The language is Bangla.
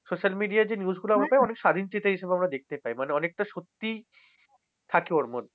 socal media য় যে news গুলা হবে অনেক স্বাধীনচেতা হিসেবে আমরা দেখতে পাই। মানে অনেকটা সত্যি থাকে ওর মধ্যে।